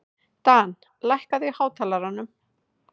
Dan, lækkaðu í hátalaranum.